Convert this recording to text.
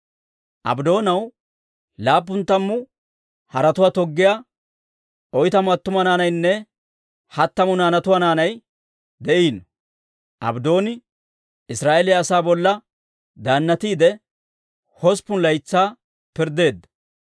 Abddoonaw laappun tammu haretuwaa toggiyaa oytamu attuma naanaynne hattamu naanatuwaa naanay de'iino; Abddooni Israa'eeliyaa asaa bolla daannatiide, hosppun laytsaa pirddeedda.